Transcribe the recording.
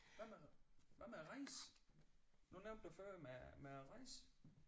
Hvad med hvad med at rejse nu nævnte du før med med at rejse